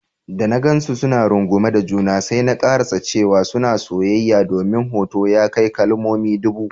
Da na gansu suna rungume da juna, sai na karasa cewa suna soyayya domin hoto ya kai kalmomi ɗubu.